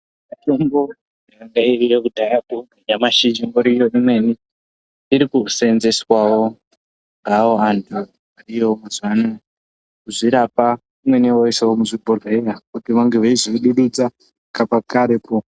Mitombo yangairiyo kudhayako nyamashi ichingoriyo kwemene. Iri kusenzeswavo ngeavo vantu ivo mazuva ano kuzvirapa imweni voisavo muzvibhodhleya kuti vange veizoibuditsa pakakareko.